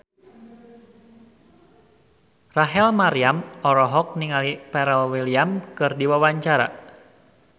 Rachel Maryam olohok ningali Pharrell Williams keur diwawancara